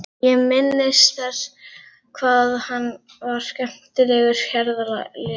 Ég minnist þess hvað hann var skemmtilegur ferðafélagi.